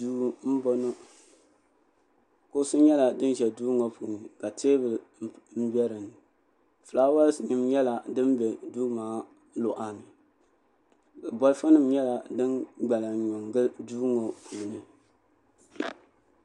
salo n-laɣim n-zaya ka shɛba ʒiya n-ŋmɛri timpana salo ŋɔ puuni bɛ yuuni-la paɣa ka o wari waa paɣa ŋɔ nyɛla ŋun bi ye liiga ka bi piri namda paɣa ŋɔ yiɣila zuɣusaa